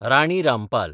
Rani Rampal